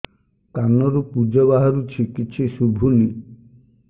କାନରୁ ପୂଜ ବାହାରୁଛି କିଛି ଶୁଭୁନି